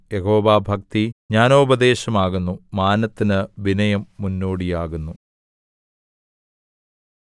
യഹോവാഭക്തി ജ്ഞാനോപദേശമാകുന്നു മാനത്തിന് വിനയം മുന്നോടിയാകുന്നു